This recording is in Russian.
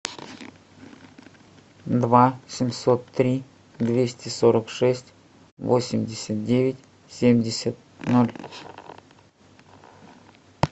два семьсот три двести сорок шесть восемьдесят девять семьдесят ноль